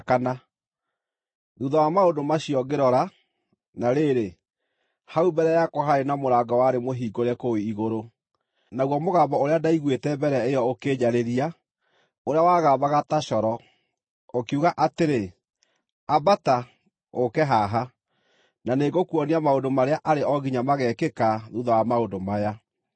Thuutha wa maũndũ macio ngĩrora, na rĩrĩ, hau mbere yakwa haarĩ na mũrango warĩ mũhingũre kũu igũrũ. Naguo mũgambo ũrĩa ndaiguĩte mbere ĩyo ũkĩnjarĩria, ũrĩa wagambaga ta coro, ũkiuga atĩrĩ, “Ambata, ũũke haha, na nĩngũkuonia maũndũ marĩa arĩ o nginya mageekĩka thuutha wa maũndũ maya.”